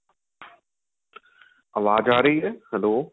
ਆਵਾਜ਼ ਆਂ ਰਹੀ ਏ hello